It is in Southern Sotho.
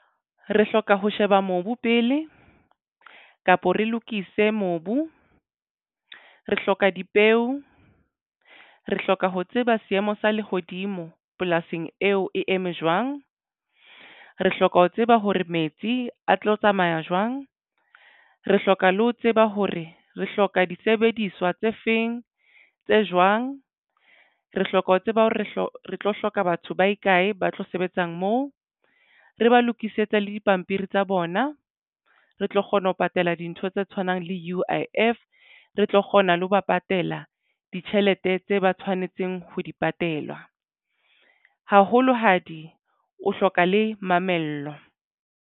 Re hloka ho sheba mobu pele kapo re lokise mobu re hloka dipeo re hloka ho tseba seemo sa lehodimo polasing eo e eme jwang. Re hloka ho tseba hore metsi a tlo tsamaya jwang. Re hloka le ho tseba hore re hloka disebediswa tse feng tse jwang. Re hloka ho tseba hore re hloka batho ba ikae ba tlo sebetsang moo re ba lokisetsa le dipampiri tsa bona. Re tlo kgona ho patala dintho tse tshwanang le U_I_F re tlo kgona le ho ba patela ditjhelete tse ba tshwanetseng ho di patela haholo hadi o hloka le mamello.